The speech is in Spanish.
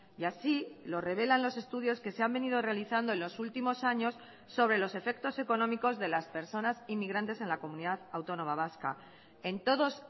y así lo revelan los estudios que se han venido realizando en los últimos años sobre los efectos económicos de las personas inmigrantes en la comunidad autónoma vasca en todos